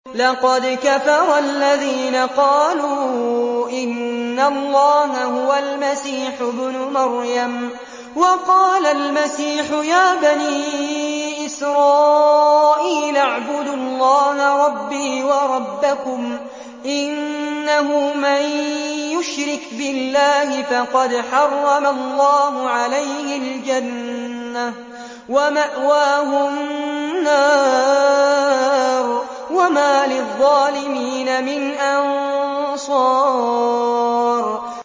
لَقَدْ كَفَرَ الَّذِينَ قَالُوا إِنَّ اللَّهَ هُوَ الْمَسِيحُ ابْنُ مَرْيَمَ ۖ وَقَالَ الْمَسِيحُ يَا بَنِي إِسْرَائِيلَ اعْبُدُوا اللَّهَ رَبِّي وَرَبَّكُمْ ۖ إِنَّهُ مَن يُشْرِكْ بِاللَّهِ فَقَدْ حَرَّمَ اللَّهُ عَلَيْهِ الْجَنَّةَ وَمَأْوَاهُ النَّارُ ۖ وَمَا لِلظَّالِمِينَ مِنْ أَنصَارٍ